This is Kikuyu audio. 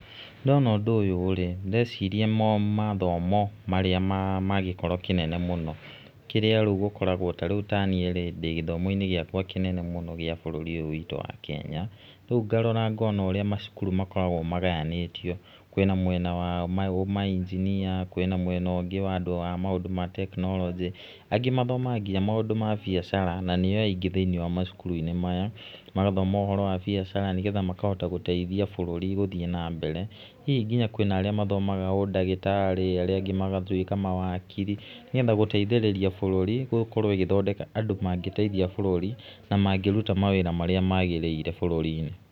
Ndona ũndũ rĩ, ndĩreciria mathomo marĩa magĩkĩro kĩnene mũno, kĩrĩa rĩu gũkoragwo ta rĩu ta niĩ, rĩ ndĩ gĩthomo-inĩ gĩakwa kĩnene mũno gíĩ bũrũri ũyũ witũ wa Kenya. Rĩu ngarara ngona ũrĩa macukuru makoragwo magayanĩtio, kwĩna mwena wa mainjinia, kwĩna mwena ũngĩ wa andũ a maũndũ ma tekinoronj, angĩ mathomaha nginya maũndũ ma biacara na nĩo aingĩ thiĩniĩ wa macukuru-inĩ maya, magathoma ũhoro wa biacara nĩ getha makahota gũteithia bũrũri gũthiĩ na mbere, hihi nginya kwĩna arĩa mathomaga ũndagĩrarĩ, ar ĩa angĩ magatuĩka mawakiri, nĩ getha gũteithĩrĩria búũũri gũthondeka andũ mangĩteithia bũrũri na mangĩruta mawĩra marĩa magĩrĩrire bũrũri-inĩ.